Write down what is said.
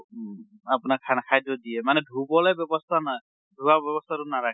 আপোনাক খানা খাদ্য় দিয়ে। মানে ধুবলৈ ব্য়ৱস্থা নাই, ধোৱা ব্য়ৱস্থা টো নাৰাখে।